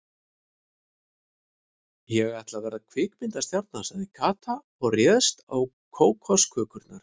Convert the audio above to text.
Ég ætla að verða kvikmyndastjarna sagði Kata og réðst á kókoskökurnar.